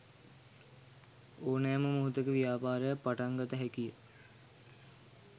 ඕනෑම මොහොතක ව්‍යාපාරයක් පටන්ගත හැකිය.